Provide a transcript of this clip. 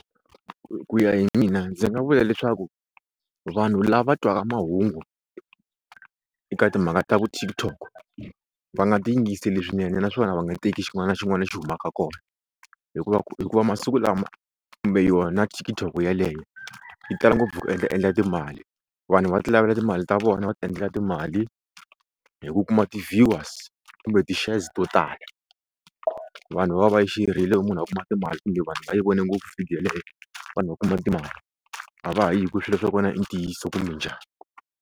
Ku ya hi mina ndzi nga vula leswaku vanhu lava twaka mahungu eka timhaka ta vo TikTok va nga ti yingiseli swinene naswona va nga teki xin'wana na xin'wana lexi humaka kona hikuva ku hikuva masiku lama kumbe yona TikTok yeleyo yi tala ngopfu ku endla endla timali vanhu va ti lavela timali ta vona va ti endlela timali hi ku kuma ti-viewers kumbe ti-shares to tala vanhu va va yi share-rile munhu a kuma timali kumbe vanhu va yi vone ngopfu video yeleyo vanhu va kuma timali a va hayi hi ku swilo swa kona i ntiyiso kumbe njhani.